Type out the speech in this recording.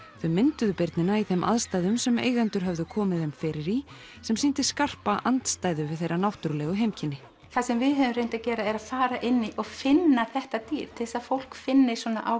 þau mynduðu birnina í þeim aðstæðum sem eigendur höfðu komið þeim fyrir í sem sýndi skarpa andstæðu við þeirra náttúrulegu heimkynni það sem við höfum reynt að gera er að fara inn og finna þetta dýr til þess að fólk finni svona